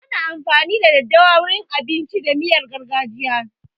Ana amfani da daddawa wurin abinci da miyan gargajiya.